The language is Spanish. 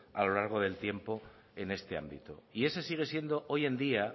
a lo largo del tiempo en este ámbito y ese sigue siendo hoy en día